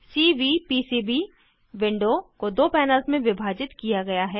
CVPCB window को दो panels में विभाजित किया गया है